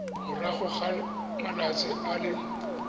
morago ga malatsi a le